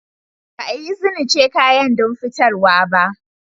Ba a izinice kayan don fitarwa ba.